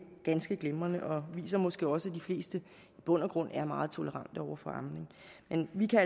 ganske glimrende og det viser måske også at de fleste i bund og grund er meget tolerante over for amning men vi kan